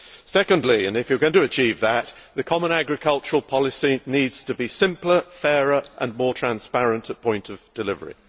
Secondly, if you are going to achieve that, the common agricultural policy needs to be simpler, fairer and more transparent at point of delivery.